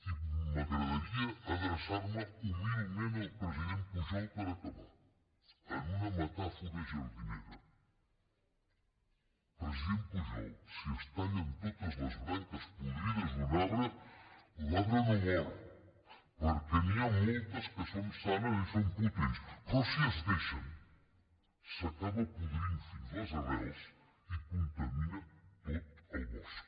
i m’agradaria adreçar me humilment al president pujol per acabar en una metàfora jardinera president pujol si es tallen totes les branques podrides d’un arbre l’arbre no mor perquè n’hi ha moltes que són sanes i són potents però si es deixen s’acaba podrint fins les arrels i contamina tot el bosc